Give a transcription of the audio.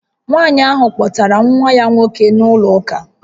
Nwanyị ahụ kpọtara nwa ya nwoke na-ụlọ ụka